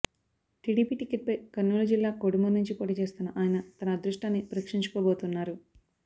TDP టికెట్పై కర్నూలు జిల్లా కోడుమూరు నుంచి పోటీ చేస్తున్న ఆయన తన అదృష్టాన్ని పరీక్షించుకోబోతున్నారు